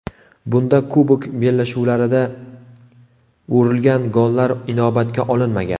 Bunda kubok bellashuvlarida urilgan gollar inobatga olinmagan.